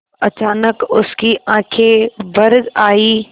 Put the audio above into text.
अचानक उसकी आँखें भर आईं